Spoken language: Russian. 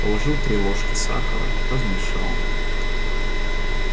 положил три ложки сахара размешал